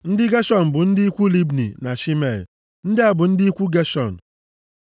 Ndị Geshọn bụ ndị ikwu Libni na Shimei. Ndị a bụ ndị ikwu Geshọn.